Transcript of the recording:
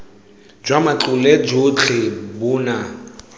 jwa matlole jotlhe bo na